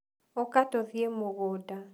ũka tũthiĩ mũgũnda.